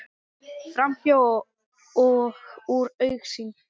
Framhjá og úr augsýn.